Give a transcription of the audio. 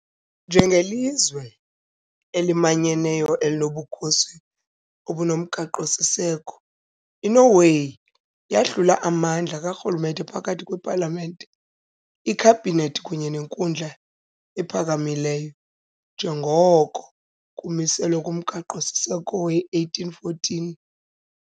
Njengelizwe elimanyeneyo elinobukhosi obunomgaqo-siseko, iNorway yahlula amandla karhulumente phakathi kwepalamente, ikhabhinethi kunye nenkundla ephakamileyo, njengoko kumiselwe ngumgaqo -siseko we - 1814.